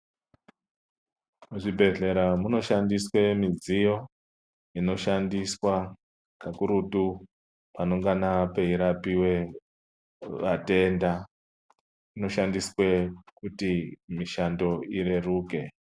Muzvibhedhlera munoshandiswe midziyo inoshandiswa kakurutu panongana peyirapiwe vatenda, inoshandiswe kuti mishando ireruke.